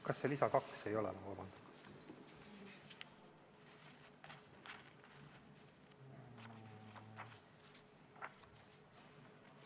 Kas see lisa 2 ei ole, vabandust?